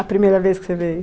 A primeira vez que você veio?